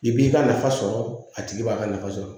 I b'i ka nafa sɔrɔ a tigi b'a ka nafa sɔrɔ